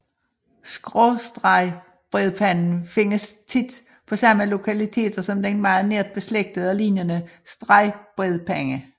Skråstregbredpanden findes tit på samme lokaliteter som den meget nært beslægtede og lignende stregbredpande